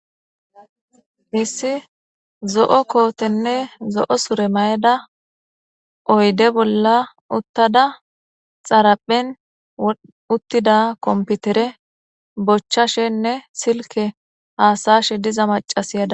missi zo7o kootenne zo7o sure mayda oyde bolla uttada xaraphen uttida komputere bochchashenne silke haasayshe diza macasiyada